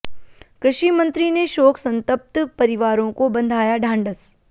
कृषि मंत्री ने शोक संतप्त परिवारों को बंधाया ढांढ़स